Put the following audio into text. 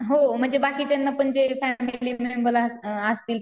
हो म्हणजे बाकीच्यांना पण जे फॅमिली मेंबर असं अअ असतील